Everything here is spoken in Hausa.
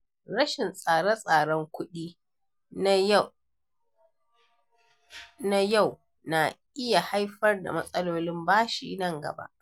Rashin tsare-tsaren kuɗi na yau na iya haifar da matsalolin bashi nan gaba.